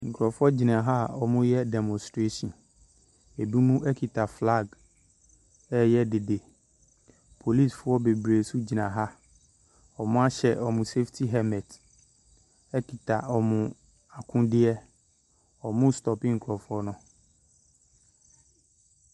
Nkurɔfoɔ gyina ha a wɔreyɛ demonstation. Binom kita flag reyɛ dede. Polisifoɔ bebree nso gyina ha. Wɔahyɛ wɔn saftey helmet kita wɔn akodeɛ. Wɔrestope nkurɔfoɔ no.